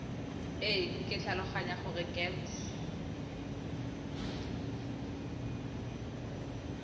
e ke tlhaloganya gore gems